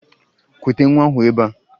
Kute nwa ahụ ebea!